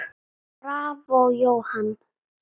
Bravó, Jóhann.